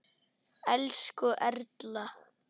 Elsku Erla.